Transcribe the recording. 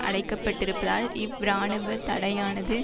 அடைக்கப்பட்டிருப்பதால் இவ் இராணுவ தடையானது